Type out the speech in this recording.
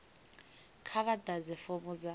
kha vha ḓadze fomo dza